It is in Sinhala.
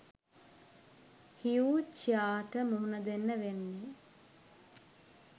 හ්යු චියාහ්ට මූණ දෙන්න වෙන්නෙ